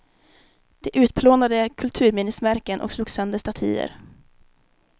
De utplånade kulturminnesmärken och slog sönder statyer.